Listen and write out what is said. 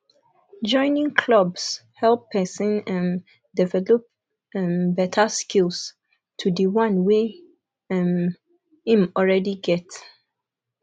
joining clubs help person um develop um better skills to di one wey um im already get